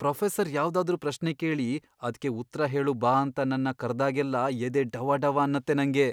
Professor ಯಾವ್ದಾದ್ರೂ ಪ್ರಶ್ನೆ ಕೇಳಿ ಅದ್ಕೆ ಉತ್ರ ಹೇಳು ಬಾ ಅಂತ ನನ್ನ ಕರ್ದಾಗೆಲ್ಲ ಎದೆ ಡವಡವ ಅನ್ನತ್ತೆ ನಂಗೆ.